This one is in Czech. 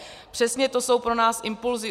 Přesně to jsou pro nás impulzy.